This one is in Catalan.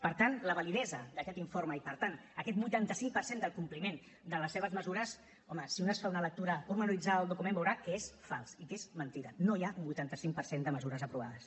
per tant la validesa d’aquest informe i per tant aquest vuitanta cinc per cent del compliment de les seves mesures home si un es fa una lectura detallada del document veurà que és fals i que és mentida no hi ha un vuitanta cinc per cent de mesures aprovades